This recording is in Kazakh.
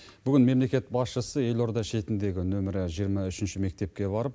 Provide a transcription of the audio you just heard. бүгін мемлекет басшысы елорда шетіндегі нөмірі жиырма үшінші мектепке барып